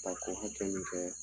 A ko hakɛ nin kɛ